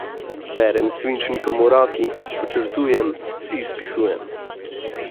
Berem s svinčnikom v roki, podčrtujem, si izpisujem.